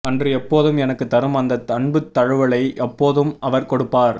அன்று எப்போதும் எனக்குத் தரும் அந்த அன்புத் தழுவலை அப்போதும் அவர் கொடுப்பார்